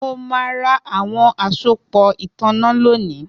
Mo ma ra awọn asopọ itanna lónìí